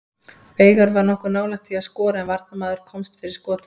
Veigar var nokkuð nálægt því að skora en varnarmaður komst fyrir skot hans.